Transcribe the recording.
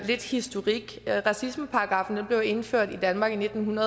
lidt historik racismeparagraffen blev indført i danmark i nitten